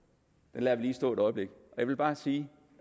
den lader vi lige stå et øjeblik jeg vil bare sige